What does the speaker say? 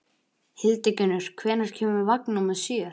Hildigunnur, hvenær kemur vagn númer sjö?